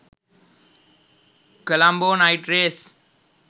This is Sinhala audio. colombo night race